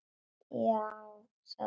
Já sagði Ólafur.